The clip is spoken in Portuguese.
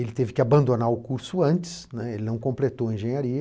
Ele teve que abandonar o curso antes, né, ele não completou a engenharia.